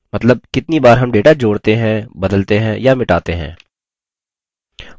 मतलब कितनी बार हम data जोड़ते है बदलते हैं या मिटाते हैं